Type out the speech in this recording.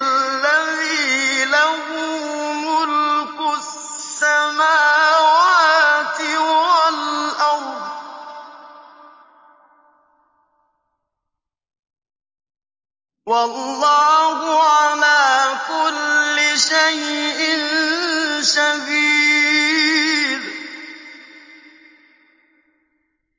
الَّذِي لَهُ مُلْكُ السَّمَاوَاتِ وَالْأَرْضِ ۚ وَاللَّهُ عَلَىٰ كُلِّ شَيْءٍ شَهِيدٌ